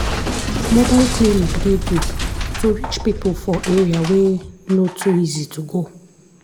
mobile clinic dey good to reach people for area wey no too easy to go.